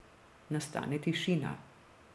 Nastane tišina.